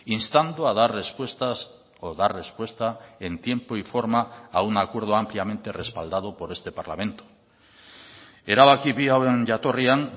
instando a dar respuestas o dar respuesta en tiempo y forma a un acuerdo ampliamente respaldado por este parlamento erabaki bi hauen jatorrian